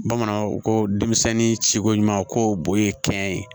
Bamananw ko ko denmisɛnnin ciko ɲuman ko bo ye kɛn ye